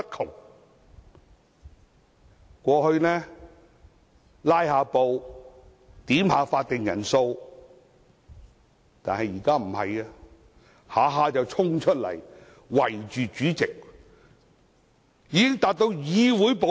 他們過去只是"拉布"、要求點算法定人數，但現在動輒衝出來圍着主席，已經等同議會暴力。